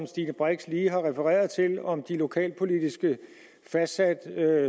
stine brix lige har refereret om de lokalpolitisk fastsatte